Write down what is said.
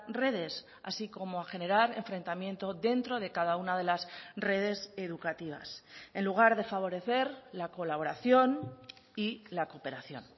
redes así como a generar enfrentamiento dentro de cada una de las redes educativas en lugar de favorecer la colaboración y la cooperación